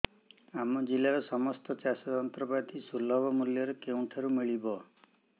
ଆମ ଜିଲ୍ଲାରେ ସମସ୍ତ ଚାଷ ଯନ୍ତ୍ରପାତି ସୁଲଭ ମୁଲ୍ଯରେ କେଉଁଠାରୁ ମିଳିବ